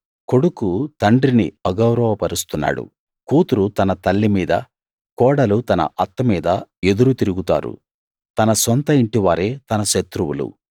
కొడుకు తండ్రిని అగౌరవపరుస్తున్నాడు కూతురు తన తల్లి మీద కోడలు తన అత్త మీద ఎదురు తిరుగుతారు తన సొంత ఇంటివారే తన శత్రువులు